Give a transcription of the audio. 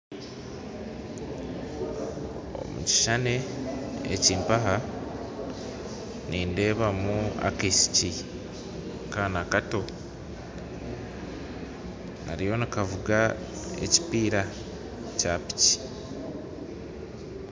Omu kishushani eki mpaha nindeebamu akaishiki kato kariyo nikavuga ekipiira kya piki